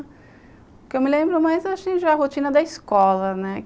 O que eu me lembro mais é a rotina da escola, né?